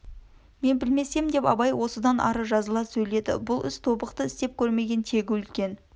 мен білсем деп абай осыдан ары жазыла сөйледі бұл іс тобықты істеп көрмеген тегі үлкен